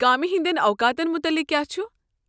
کامہِ ہٕنٛدٮ۪ن اوقاتن مُتعلق كیاہ چھُ؟